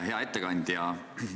Hea ettekandja!